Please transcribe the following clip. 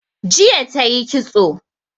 Jiya tayi ƙitso